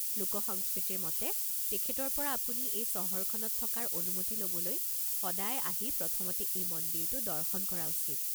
লোকসংস্কৃতিৰ মতে, তেখেতৰ পৰা আপুনি এই চহৰখনত থকাৰ অনুমতি ল'বলৈ সদায় আহি প্ৰথমতে এই মন্দিৰটো দৰ্শন কৰা উচিত।